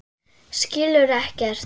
Skilur ekkert.